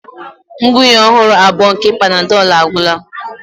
Ngwunye ọhụrụ abụọ nke Panadol agwụla.